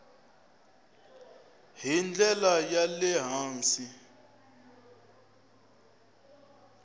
hi ndlela ya le hansi